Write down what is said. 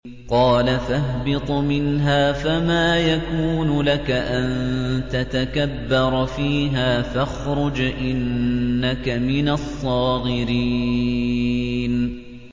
قَالَ فَاهْبِطْ مِنْهَا فَمَا يَكُونُ لَكَ أَن تَتَكَبَّرَ فِيهَا فَاخْرُجْ إِنَّكَ مِنَ الصَّاغِرِينَ